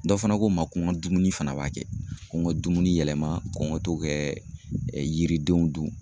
Dɔ fana ko n ma, ko n ka dumuni fana b'a kɛ, ko n ka dumuni yɛlɛma, ko n ka to kɛ yiridenw dun.